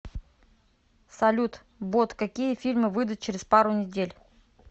салют бот какие фильмы выидут через пару недель